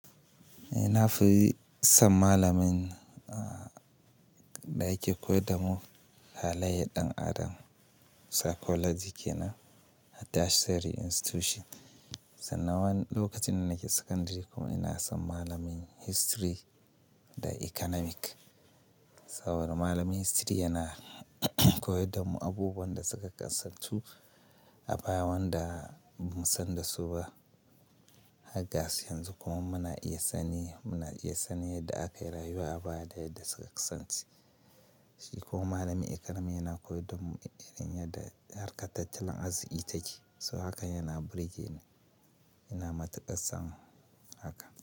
Eh, na fi son malamin a da yake koyar da mu haleyan ɗan adam, psychology kenan a tertiary institution. Sannan wani lokacin da nake secondary kuma ina son malamin history da economic. Saboda malamin history yana koyar da mu abubuwan da suka kasantu, abaya wanda ba mu san da su ba. Har gasu yanzu kuma muna iya sanin, muna iya sanin yadda akayi rayuwa a baya da yadda suka kasance. Shi kuma malamin economics yana koyar da mu irin yadda harkar tattalin arziki take. So haka yana burge ni, yana matuƙar son haka.